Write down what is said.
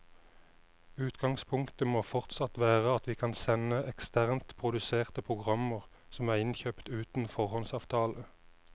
Utgangspunktet må fortsatt være at vi kan sende eksternt produserte programmer som er innkjøpt uten foråndsavtale.